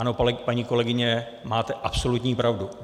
Ano, paní kolegyně, máte absolutní pravdu.